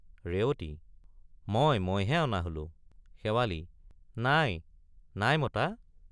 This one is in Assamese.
ৰেৱতী— মই মইহে অনা হলো— শেৱালি— নাই—নাই—মতা?